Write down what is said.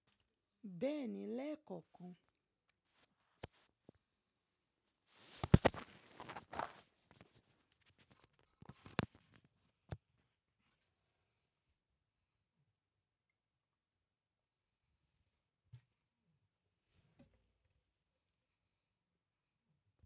Bẹ́ẹ̀ni, lè kọ ọkàn.